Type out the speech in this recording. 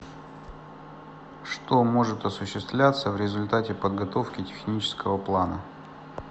что может осуществляться в результате подготовки технического плана